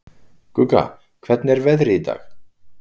Gugga, hvernig er veðrið í dag?